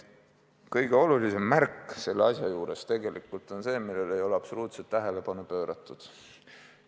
Kõige olulisem märk selle asja juures on tegelikult see, millele ei ole absoluutselt tähelepanu pööratud.